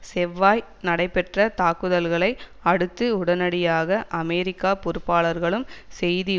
செவ்வாய் நடைபெற்ற தாக்குதல்களை அடுத்து உடனடியாக அமெரிக்க பொறுப்பாளர்களும் செய்தி